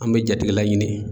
An bɛ jatigila ɲini.